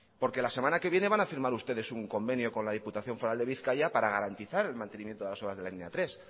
porque la semana que viene van a firmar ustedes un convenio con la diputación foral de bizkaia para garantizar el mantenimiento de las obras de la línea tres